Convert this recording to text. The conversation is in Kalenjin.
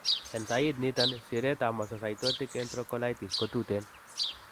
En sayit niiton, siretab mastocytic entrocolitis ko tuten.